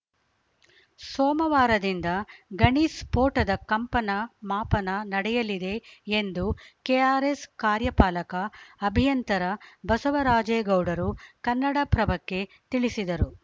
ಸೋಮವಾರದಿಂದ ಗಣಿ ಸ್ಫೋಟದ ಕಂಪನ ಮಾಪನ ನಡೆಯಲಿದೆ ಎಂದು ಕೆಆರ್‌ಎಸ್‌ ಕಾರ್ಯಪಾಲಕ ಅಭಿಯಂತರ ಬಸವರಾಜೇಗೌಡರು ಕನ್ನಡಪ್ರಭಕ್ಕೆ ತಿಳಿಸಿದರು